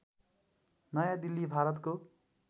नयाँ दिल्ली भारतको